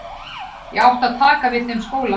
Ég átti að taka við þeim skóla.